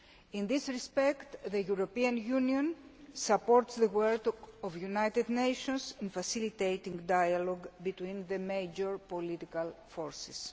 In this respect the European Union supports the work of the United Nations in facilitating dialogue between the major political forces.